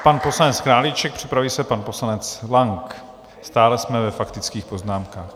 Pan poslanec Králíček, připraví se pan poslanec Lang, stále jsme ve faktických poznámkách.